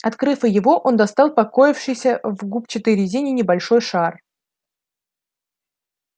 открыв и его он достал покоившийся в губчатой резине небольшой шар